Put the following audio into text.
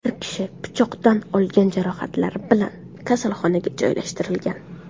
Bir kishi pichoqdan olgan jarohatlari bilan kasalxonaga joylashtirilgan.